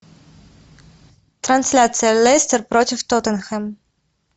трансляция лестер против тоттенхэм